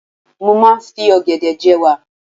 Mo máa ń fi ọ̀gẹ̀dẹ̀ je'wà.